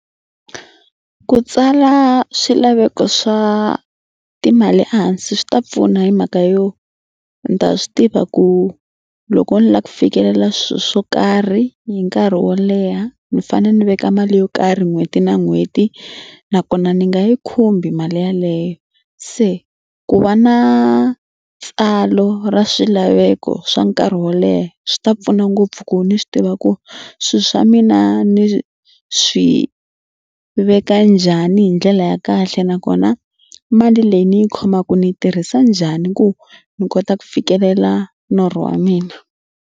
Ku tsala swilaveko swa timali ehansi swi ta pfuna hi mhaka yo ni ta swi tiva ku loko ni la ku fikelela swilo swo karhi hi nkarhi wo leha ni fanele ni veka mali yo karhi n'hweti na n'hweti nakona ni nga yi khumbi mali yaleyo. Se ku va na tsalo ra swilaveko swa nkarhi wo leha swi ta pfuna ngopfu ku ni swi tiva ku swi swa mina ni swi veka njhani hi ndlela ya kahle nakona mali leyi ni yi khomaka ni yi tirhisa njhani ku ni kota ku fikelela norho wa mina.